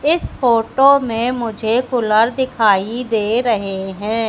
इस फोटो में मुझे कूलर दिखाई दे रहे हैं।